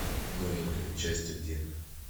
новенькая часть один